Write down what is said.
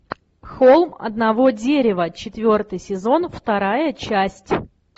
холм одного дерева четвертый сезон вторая часть